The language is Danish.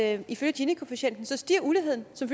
at ifølge ginikoefficienten stiger uligheden som